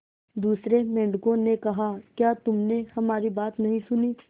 दूसरे मेंढकों ने कहा क्या तुमने हमारी बात नहीं सुनी